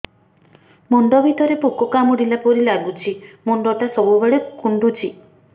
ମୁଣ୍ଡ ଭିତରେ ପୁକ କାମୁଡ଼ିଲା ପରି ଲାଗୁଛି ମୁଣ୍ଡ ଟା ସବୁବେଳେ କୁଣ୍ଡୁଚି